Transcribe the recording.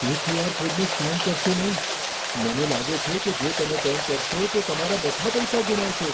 તે ક્યુ.આર. કોડને સ્કેન કરશો નહીં. મને લાગે છે કે જો તમે તેમ કરશો, તો તમે તમારા બધા પૈસા ગુમાવશો.